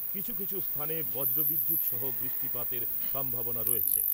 কিছু কিছু স্থানে বজ্রবিদ্যুৎসহ বৃষ্টিপাতের সম্ভাবনা রয়েছে ।